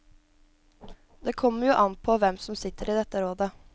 Det kommer jo an påhvem som sitter i dette rådet.